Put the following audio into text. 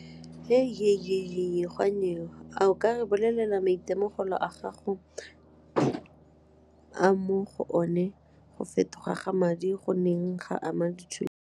A o ka re bolelela maitemogelo a gago a mo go one go fetoga ga madi goneng ga ama dijo?